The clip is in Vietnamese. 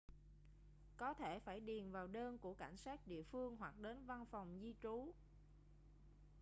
có thể phải điền vào đơn của cảnh sát địa phương hoặc đến văn phòng di trú